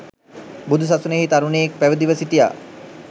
බුදු සසුනෙහි තරුණයෙක් පැවිදිව සිටියා